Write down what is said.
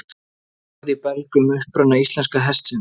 Orð í belg um uppruna íslenska hestsins